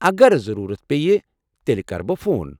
اگر ضروٗرت پیہِ تیٚلہ کر بہٕ فون۔